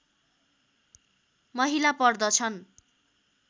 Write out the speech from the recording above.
महिला पर्दछन्